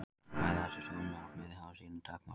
Ljóst er að bæði þessi sjónarmið hafa sínar takmarkanir.